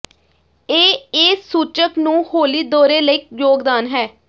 ਇਹ ਇਹ ਸੂਚਕ ਨੂੰ ਹੌਲੀ ਦੌਰੇ ਲਈ ਯੋਗਦਾਨ ਹੈ